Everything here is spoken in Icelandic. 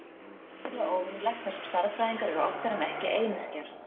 Þetta er sérstaklega óvenjulegt þar sem stærðfræðingar eru oftar en ekki einyrkjar.